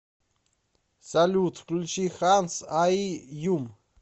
салют включи хансайюм